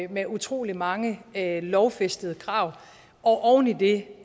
med utrolig mange lovfæstede krav og oven i det